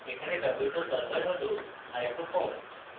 এখানে ব্যবহৃত সল্ভার হল icofoam: